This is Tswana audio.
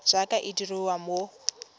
jaaka e dirwa mo go